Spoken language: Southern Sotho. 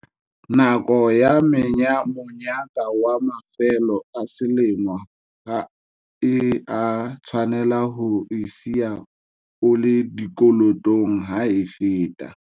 Nako ya monyaka wa mafelo a selemo ha e a tshwanela ho o siya o le dikolotong ha e feta.